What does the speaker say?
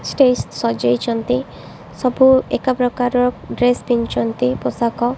Stage ସଜେଇଚନ୍ତି ସବୁ ଏକା ପ୍ରକାର୍ ର ଡ୍ରେସ୍ ପିନ୍ ଚନ୍ତି ପୋଷାକ।